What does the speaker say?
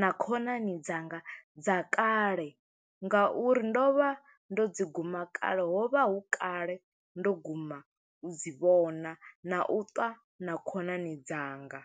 na khonani dzanga dza kale, nga uri ndo vha ndo dzi guma kale. Ho vha hu kale, ndo guma u dzi vhona, na u ṱwa na khonani dzanga